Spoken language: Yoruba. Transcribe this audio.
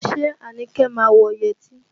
Ṣé Anike má wọ yẹtí?